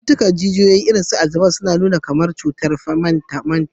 Cututtukan jijiyoyi, irin su Alzheimer's, na iya nuna alamun kamar cutar mantau